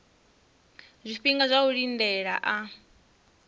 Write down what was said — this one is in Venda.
zwifhinga zwa u lindela a